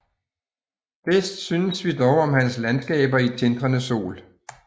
Bedst synes vi dog om hans landskaber i tindrende sol